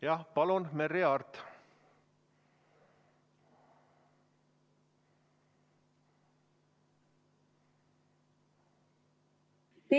Jah, palun, Merry Aart!